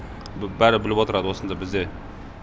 бәрі біліп отырады осында бізде